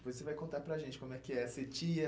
Depois você vai contar para a gente como é que é ser tia.